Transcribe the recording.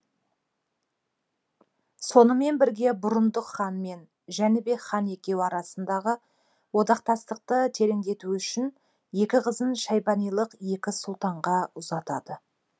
сонымен бірге бұрындық хан мен жәнібек хан екеуі арасындағы одақтастықты тереңдету үшін екі қызын шайбанилық екі сұлтанға ұзатады